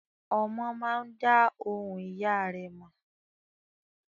Ọmọ máa dá ohùn ìyá rẹ̀ mọ̀.